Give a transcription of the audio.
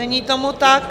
Není tomu tak.